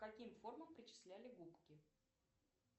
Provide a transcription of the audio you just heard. к каким формам причисляли губки